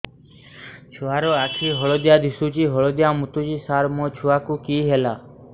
ଛୁଆ ର ଆଖି ହଳଦିଆ ଦିଶୁଛି ହଳଦିଆ ମୁତୁଛି ସାର ମୋ ଛୁଆକୁ କି ହେଲା